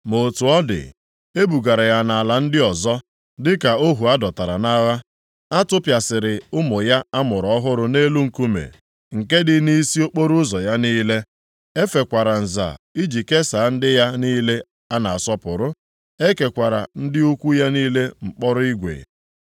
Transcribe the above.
Ma otu ọ dị, ebugara ya nʼala ndị ọzọ dịka ohu a dọtara nʼagha. A tụpịasịrị ụmụ ya a mụrụ ọhụrụ nʼelu nkume, nke dị nʼisi okporoụzọ ya niile. E fekwara nza iji kesaa ndị ya niile a na-asọpụrụ, e kekwara ndị ukwu ya niile mkpọrọ igwe.